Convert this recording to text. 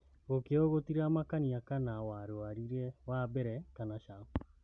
Gokĩo gũtiramakania kana warũarire wambere kana caa.